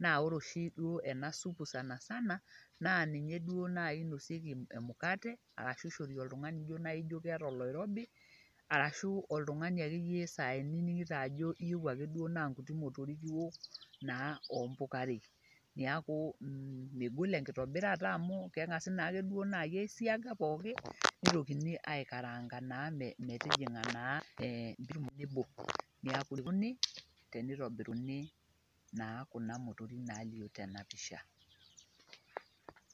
naa ore duo oshi ena supu sanasana, naa ninye duo naaji inosieki emukate, arashu ishori oltungani ijo naaji keeta oloirobi. arashu oltungani akeyie sai niningito ajo iyieu ake duoo naa nkuti motorik iok naa oompukarei. neeku megol enkitobirata amu kegasi naaji aisiaga pookin. nitokini aikaraanga naa metijinga naa .neeku nejia ieikununi teneitobiruni kuna motorik naa tena pisha.